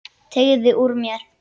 Teygði úr mér.